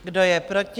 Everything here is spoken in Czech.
Kdo je proti?